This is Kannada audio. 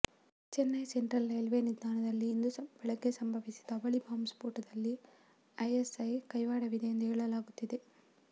ಚೆನ್ನೈ ಸೆಂಟ್ರಲ್ ರೇಲ್ವೇ ನಿಲ್ದಾಣದಲ್ಲಿ ಇಂದು ಬೆಳಗ್ಗೆ ಸಂಭವಿಸಿದ ಅವಳಿ ಬಾಂಬ್ ಸ್ಫೋಟದಲ್ಲಿ ಐಎಸ್ಐ ಕೈವಾಡವಿದೆ ಎಂದು ಹೇಳಲಾಗುತ್ತಿದೆ